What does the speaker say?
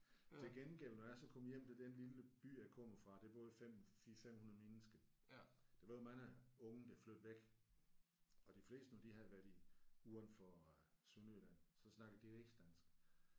Til gengæld når jeg så kom hjem til den lille by jeg kommer fra der boede 5 4 500 mennesker, Der var mange unge der flyttede væk og de fleste når de havde været i uden for øh Sønderjylland så snakkede de rigsdansk